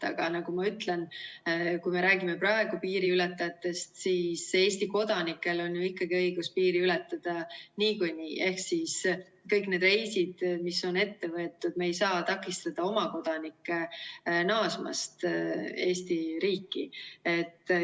Aga nagu ma ütlen, kui me räägime praegu piiriületajatest, siis Eesti kodanikel on ju õigus piiri ületada niikuinii ehk siis kõik need reisid, mis on ette võetud, me ei saa takistada oma kodanikke naasmast Eesti riiki.